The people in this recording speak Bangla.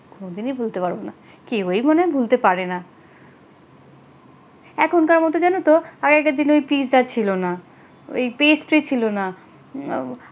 কোনদিনই ভুলতে পারবো না কেউই মনে হয় ভুলতে পারেনা এখনকার মত জানো তো আগেকার দিনে ওই পিজা ছিল না ওই পেস্ট্রি ছিলনা, উম